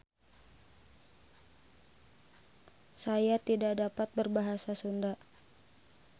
Saya tidak dapat berbahasa Sunda.